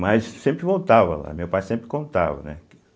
Mas sempre voltava lá, meu pai sempre contava, né? Que